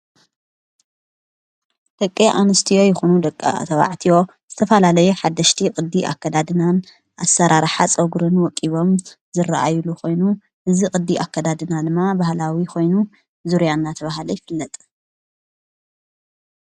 ደቀ ኣንስትዮ ይኾኑ ደቃ ተባዕትዮ ዝተፋላለየ ሓሽቲ ቕዲ ኣከዳድናን ኣሠራራሓ ጸወጕርን ወቂቦም ዘረአይሉ ኾይኑ እዝ ቕዲ ኣከዳድና ልማ ባህላዊ ኾይኑ ዙርያና ተብሃለ ኣይፍለጠ።